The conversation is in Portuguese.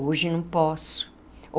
Hoje não posso.